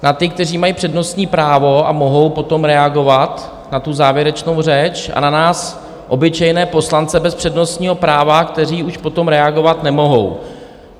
Na ty, kteří mají přednostní právo a mohou potom reagovat na tu závěrečnou řeč, a na nás obyčejné poslance bez přednostního práva, kteří už potom reagovat nemohou.